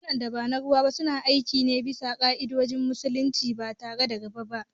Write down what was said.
Bankunan da ba na ruwa ba suna aiki ne bisa ka’idojin kudi na Musulunci ba tare da riba ba.